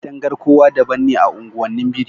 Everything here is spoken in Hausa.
Katangar kowa daban ne a unguwannin birni